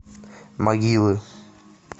могилы